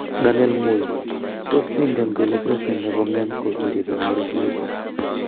Daniel Moi:Tos ingen kole presdent nebo ngeny ko kiribe ngororiet?